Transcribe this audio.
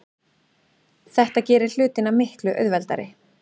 Þetta gerir hlutina miklu auðveldari.